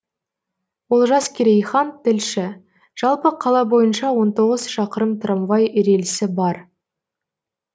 олжас керейхан тілші жалпы қала бойынша он тоғыз шақырым трамвай рельсі бар